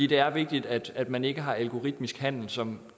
det er vigtigt at at man ikke har algoritmisk handel som